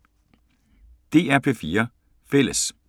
DR P4 Fælles